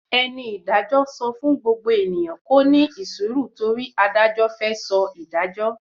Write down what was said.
Eni Ìdájọ so fún gbogbo eniyan kó ni isiru tori adajo fe so ìdájọ